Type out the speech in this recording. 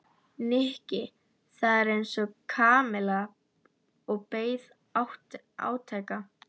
Nikki þagði eins og Kamilla og beið átekta.